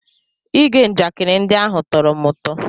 Ige njakịrị ndị ahụ tọrọ m ụtọ.